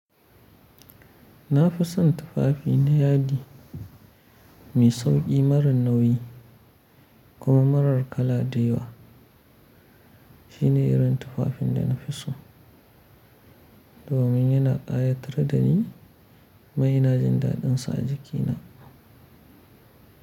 Na fi son tufafi na yadi mai sauƙi marar nauyi kuma marar kala da yawa. Shine irin tufafin da nafi so domin yana ƙayatar da ni kuma yana ina jin daɗinsa a jikina.